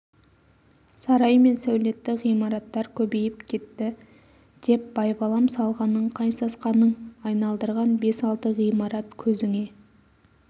сарай мен сәулетті ғимараттар көбейіп кетті деп байбалам салғаның қай сасқаның айналдырған бес-алты ғимарат көзіңе